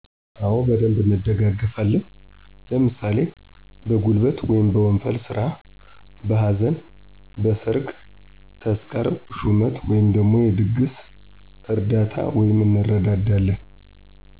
አወ በደንብ እንደጋገፋለን። ለምሣሌ በጉልበት/ወንፈል ስራ: በሀዘን: በሠርግ ተስካር ሹመት/የድግስ እርዳታ/ እንረዳዳለን።